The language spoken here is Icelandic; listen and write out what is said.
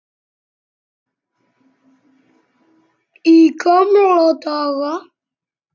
Í gamla daga.